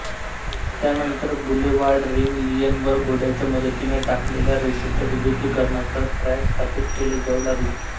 त्यानंतर boulevard ring line वर घोड्याच्या मदतीने टाकलेल्या रेषेच्या विद्युतीकरणासह ट्रॅक स्थापित केले जाऊ लागले